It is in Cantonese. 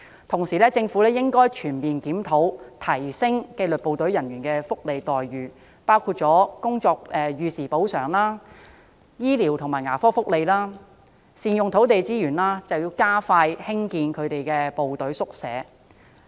同時，政府應該全面檢討並提升紀律部隊人員的福利待遇，包括逾時工作補償、醫療和牙科福利，以及善用土地資源加快興建紀律部隊宿舍。